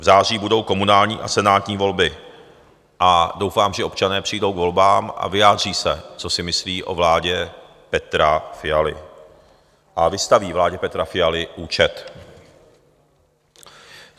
V září budou komunální a senátní volby a doufám, že občané přijdou k volbám a vyjádří se, co si myslí o vládě Petra Fialy, a vystaví vládě Petra Fialy účet.